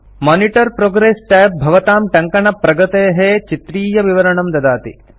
monitor progress tab भवतां टङ्कनप्रगतेः चित्रीयविवरणं ददाति